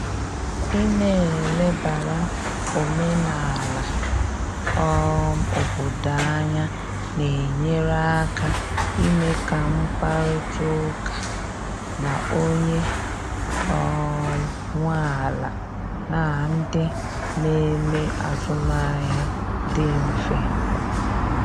Ị na elebara omenala um obodo anya na enyere aka ime ka mkparịta ụka na onye um nwe ala na ndị na eme azụmahịa dị mfe.